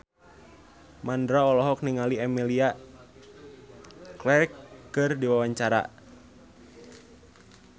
Mandra olohok ningali Emilia Clarke keur diwawancara